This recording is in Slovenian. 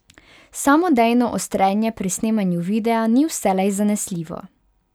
Samodejno ostrenje pri snemanju videa ni vselej zanesljivo.